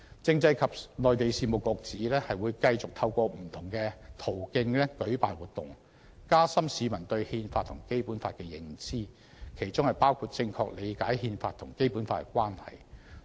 政制及內地事務局指會繼續透過不同途徑舉辦活動，加深市民對《憲法》和《基本法》的認知，其中包括正確理解《憲法》和《基本法》的關係。